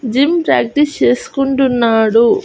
Gym practice చేసుకుంటున్నాడు.